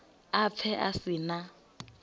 a pfe a si na